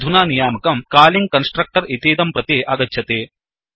अधुना नियामकं calling constructor इतीदं प्रति आगच्छति